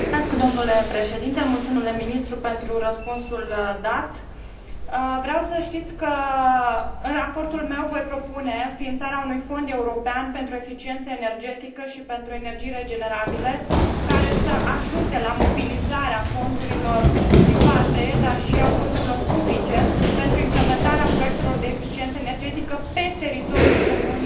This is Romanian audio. Vreau să știți că în raportul meu voi propune înființarea unui Fond european pentru eficiență energetică și pentru energii regenerabile, care să ajute la mobilizarea fondurilor private, dar și a fondurilor publice, pentru implementarea proiectelor de eficiență energetică pe teritoriul Uniunii Europene și doresc să am din partea Consiliului sprijin pentru această inițiativă importantă.